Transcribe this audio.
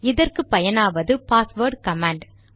இதற்கு பயனாவது password command